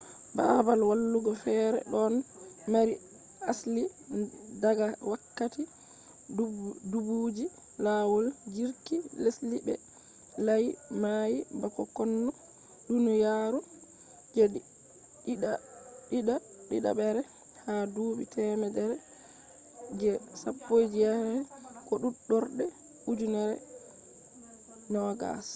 baabal wallugo feere ɗon mari asli daga wakkati duubiji lawol jirki lesdi be layi mayi; bako konno duniyaru je ɗiɗaɓre ha duuɓi temere je 19 ko fuɗɗorde ujenere 20